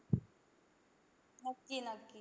नक्की नक्की.